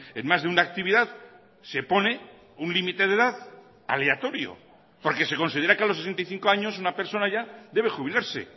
en más de una actividad se pone un límite de edad aleatorio porque se considera que a los sesenta y cinco años una persona ya debe jubilarse